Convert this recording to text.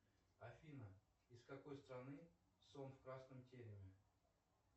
афина из какой страны сон в красном тереме